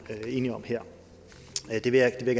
er enige om her det vil jeg